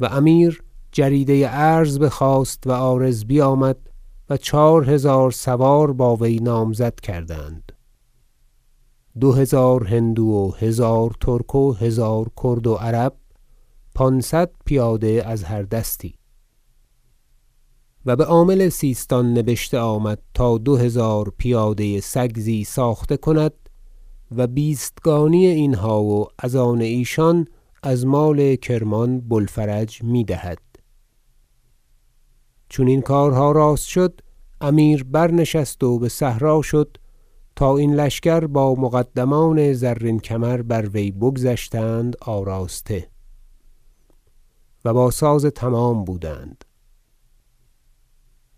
و امیر جریده عرض بخواست و عارض بیامد و چهار هزار سوار با وی نامزد کردند دو هزار هندو و هزار ترک و هزار کرد و عرب و پانصد پیاده از هر دستی و بعامل سیستان نبشته آمد تا دو هزار پیاده سگزی ساخته کند و بیستگانی اینها و از آن ایشان از مال کرمان بوالفرج میدهد چون این کارها راست شد امیر برنشست و بصحرا شد تا این لشکر با مقدمان زرین کمر بر وی بگذشتند آراسته و با ساز تمام بودند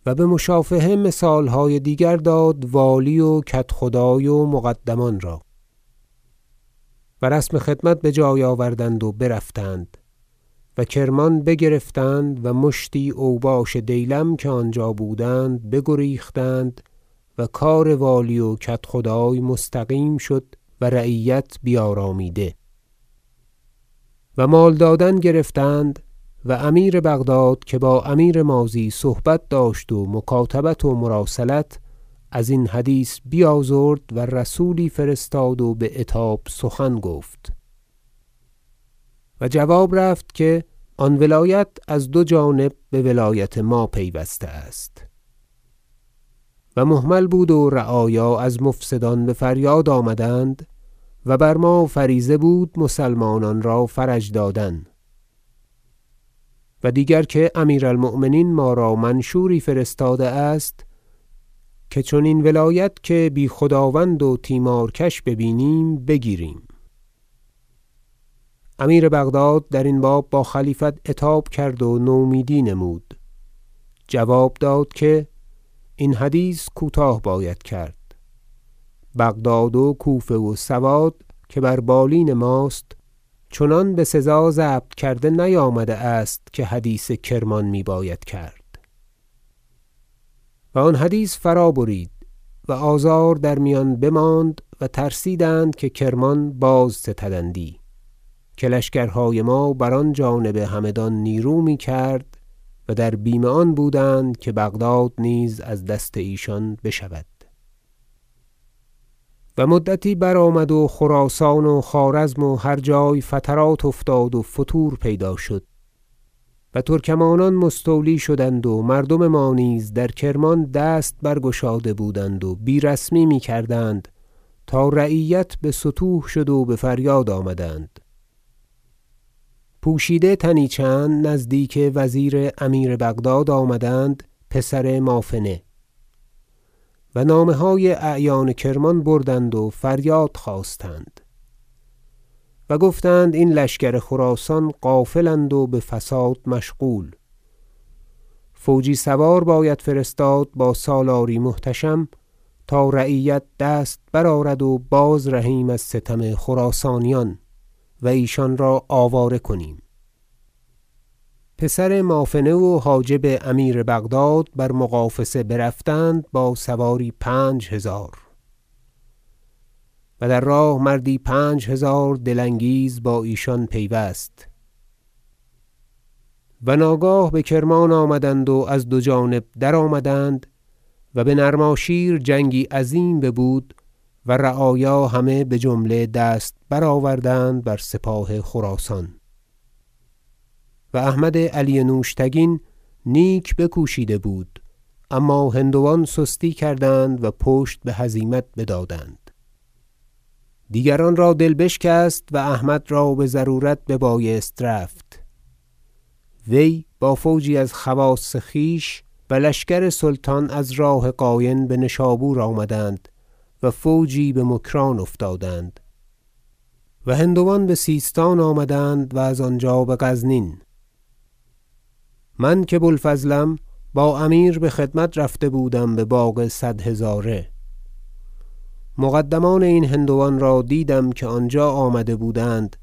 و بمشافهه مثالهای دیگر داد والی و کدخدای و مقدمان را و رسم خدمت بجای آوردند و برفتند و کرمان بگرفتند و مشتی اوباش دیلم که آنجا بودند بگریختند و کار والی و کدخدای مستقیم شد و رعیت بیارامیده و مال دادن گرفتند و امیر بغداد که با امیر ماضی صحبت داشت و مکاتبت و مراسلت ازین حدیث بیازرد و رسولی فرستاد و بعتاب سخن گفت و جواب رفت که آن ولایت از دو جانب بولایت ما پیوسته است و مهمل بود و رعایا از مفسدان بفریاد آمدند و بر ما فریضه بود مسلمانان را فرج دادن و دیگر که امیر- المؤمنین ما را منشوری فرستاده است که چنین ولایت که بی خداوند و تیمارکش ببینیم بگیریم امیر بغداد درین باب با خلیفت عتاب کرد و نومیدی نمود جواب داد که این حدیث کوتاه باید کرد بغداد و کوفه و سواد که بر بالین ماست چنان بسزا ضبط کرده نیامده است که حدیث کرمان میباید کرد و آن حدیث فرابرید و آزار در میان بماند و ترسیدند که کرمان بازستدندی که لشکرهای ما بر آن جانب همدان نیرو میکرد و در بیم آن بودند که بغداد نیز از دست ایشان بشود و مدتی برآمد و در خراسان و خوارزم و هر جای فترات افتاد و فتور پیدا شد و ترکمانان مستولی شدند و مردم ما نیز در کرمان دست برگشاده بودند و بی رسمی میکردند تا رعیت بستوه شد و بفریاد آمدند پوشیده تنی چند نزدیک وزیر امیر بغداد آمدند پسر مافنه و نامه های اعیان کرمان بردند و فریاد خواستند و گفتند این لشکر خراسان غافل اند و بفساد مشغول فوجی سوار باید فرستاد با سالاری محتشم تا رعیت دست برآرد و بازرهیم از ستم خراسانیان و ایشان را آواره کنیم پسر مافنه و حاجب امیر بغداد بر مغافصه برفتند با سواری پنجهزار و در راه مردی پنجهزار دل انگیز با ایشان پیوست و ناگاه بکرمان آمدند و از دو جانب درآمدند و به نرماشیر جنگی عظیم ببود و رعایا همه بجمله دست برآوردند بر سپاه خراسان و احمد علی نوشتگین نیک بکوشیده بود اما هندوان سستی کردند و پشت بهزیمت بدادند دیگران را دل بشکست و احمد را بضرورت ببایست رفت وی با فوجی از خواص خویش و لشکر سلطان از راه قاین بنشابور آمدند و فوجی بمکران افتادند و هندوان بسیستان آمدند و از آنجا بغزنین من که بوالفضلم با امیر بخدمت رفته بودم بباغ صد هزاره مقدمان این هندوان را دیدم که آنجا آمده بودند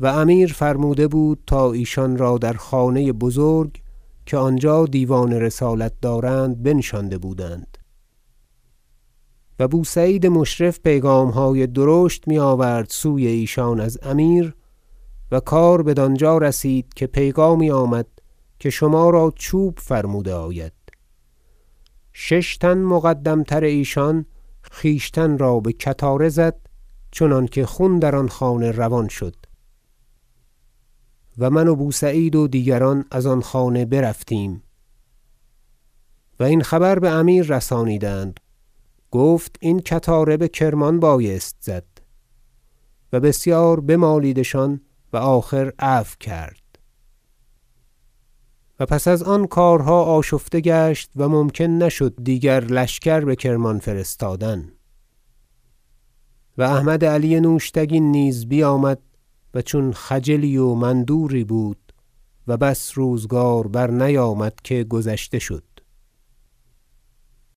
و امیر فرموده بود تا ایشان را در خانه بزرگ که آنجا دیوان رسالت دارند بنشانده بودند و بوسعید مشرف پیغامهای درشت میآورد سوی ایشان از امیر و کار بدانجا رسید که پیغامی آمد که شما را چوب فرموده آید شش تن مقدمتر ایشان خویشتن را به کتاره زد چنانکه خون در آن خانه روان شد و من و بوسعید و دیگران از آن خانه برفتیم و این خبر بامیر رسانیدند گفت این کتاره بکرمان بایست زد و بسیار بمالیدشان و آخر عفو کرد و پس از آن کارها آشفته گشت و ممکن نشد دیگر لشکر بکرمان فرستادن و احمد علی نوشتگین نیز بیامد و چون خجلی و مندوری بود و بس روزگار برنیامد که گذشته شد